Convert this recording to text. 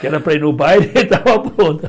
que era para ir ao baile e estava pronta.